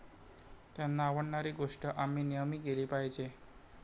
त्यांना आवडणारी गोष्ट आम्ही नेहमी केली पाहिजे.